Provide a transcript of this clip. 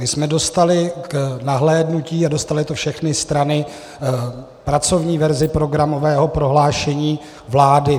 My jsme dostali k nahlédnutí - a dostaly to všechny strany - pracovní verzi programového prohlášení vlády.